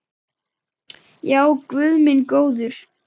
Já, guð minn góður.